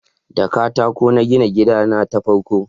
da katako na gina gida na ta farko